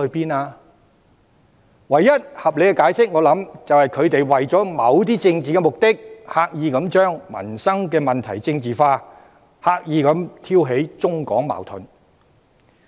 我相信，唯一合理的解釋是，他們為了某些政治目的，刻意把民生問題政治化，刻意挑起中港矛盾。